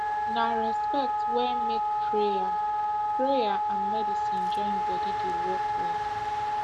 na respect wey make prayer prayer and medicine join body dey work well